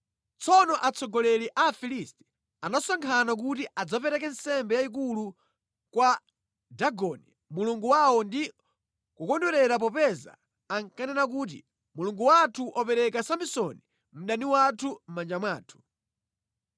Tsono atsogoleri a Afilisti anasonkhana kuti adzapereke nsembe yayikulu kwa Dagoni mulungu wawo ndi kukondwerera popeza ankanena kuti, “Mulungu wathu wapereka Samsoni mdani wathu mʼmanja mwathu.”